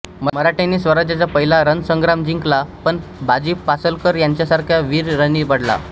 मराठ्यांनी स्वराज्याचा पहिला रणसंग्राम जिंकला पण बाजी पासलकर यांच्यासारखा वीर रणी पडला